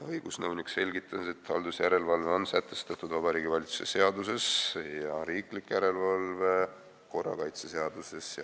Õigusnõunik selgitas, et haldusjärelevalve on sätestatud Vabariigi Valitsuse seaduses ja riiklik järelevalve korrakaitseseaduses.